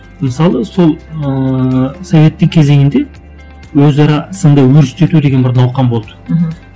мысалы сол ыыы советтің кезеңінде өзара сынды өріштету деген бір науқан болды мхм